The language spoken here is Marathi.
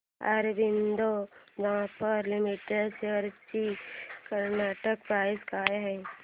ऑरबिंदो फार्मा लिमिटेड शेअर्स ची करंट प्राइस काय आहे